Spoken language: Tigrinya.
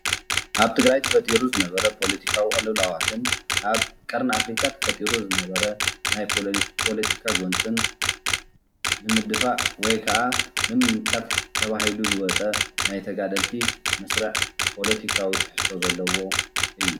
ኣብ ትግራይ ተፈጥሩ ዝነበረ ፖለትካዊ ቁልውልዋትን ኣብ ቀርኒ ኣፍርካ ተፈጥሩ ዝነበረ ናይ ፖለቲካ ጎንፂን ንምድፋእ ወይ ከዓ ንምምካት ተበሂሉ ዝወፀ ናይ ተጋደልቲ መስርዕ ፖለትካዊ ትሕዝቶ ዘለዎ እዩ።